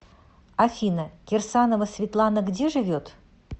афина кирсанова светланагде живет